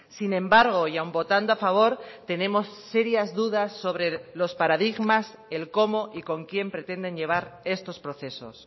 sin embargo y aun votando a favor tenemos serias dudas sobre los paradigmas el cómo y con quién pretenden llevar estos procesos